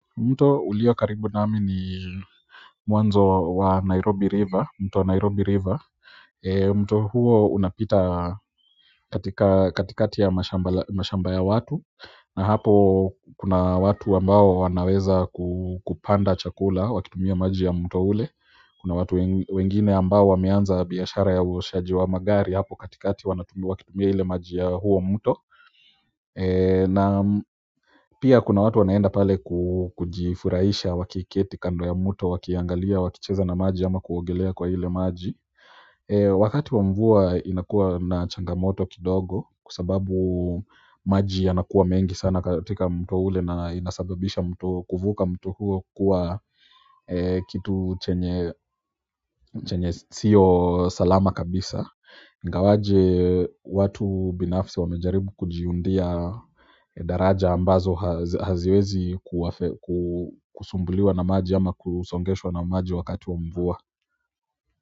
Mto ulio karibu nami ni mwanzo wa Nairobi river mto Nairobi river mto huo unapita katikati ya mashamba ya watu na hapo kuna watu ambao wanaweza kupanda chakula wakitumia maji ya mto ule kuna watu wengine ambao wameanza biashara ya uoshaji wa magari hapo katikati wanatumia wakitumia ile maji ya huo mto na pia kuna watu wanaenda pale kujifuraisha wakiketi kando ya mto wakiangalia wakicheza na maji ama kuogelea kwa ile maji wakati wa mvua inakua na changamoto kidogo kwa sababu maji yanakuwa mengi sana katika mto ule na inasababisha kuvuka mtu huo kuwa kitu chenye siyo salama kabisa ingawaje watu binafisi wamejaribu kujiundia daraja ambazo haziwezi kusumbuliwa na maji ama kusongeshwa na maji wakati wa mvua.